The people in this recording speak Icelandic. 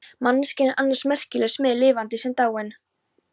Manneskjan er annars merkileg smíð, lifandi sem dáin.